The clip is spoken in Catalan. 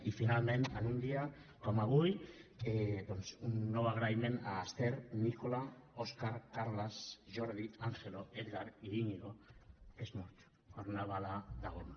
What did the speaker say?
i finalment en un dia com avui doncs un nou agraïment a l’ester nicola óscar carles jordi angelo edgard i íñigo que és mort per una bala de goma